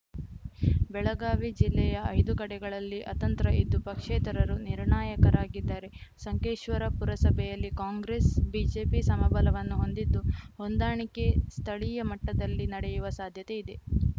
ಬೆಳಗಾವಿ ಜಿಲ್ಲೆಯ ಐದು ಕಡೆಗಳಲ್ಲಿ ಅತಂತ್ರ ಇದ್ದು ಪಕ್ಷೇತರರು ನಿರ್ಣಾಯಕರಾಗಿದ್ದಾರೆ ಸಂಕೇಶ್ವರ ಪುರಸಭೆಯಲ್ಲಿ ಕಾಂಗ್ರೆಸ್‌ ಬಿಜೆಪಿ ಸಮಬಲವನ್ನು ಹೊಂದಿದ್ದು ಹೊಂದಾಣಿಕೆ ಸ್ಥಳೀಯ ಮಟ್ಟದಲ್ಲಿ ನಡೆಯುವ ಸಾಧ್ಯತೆ ಇದೆ